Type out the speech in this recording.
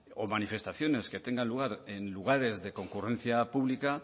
o manifestaciones que tengan lugar en lugares de concurrencia pública